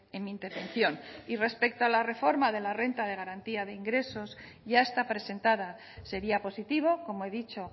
en mi intervención y respecto a la reforma de la renta de garantía de ingresos ya está presentada sería positivo como he dicho